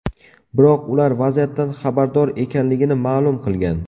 Biroq ular vaziyatdan xabardor ekanligini ma’lum qilgan.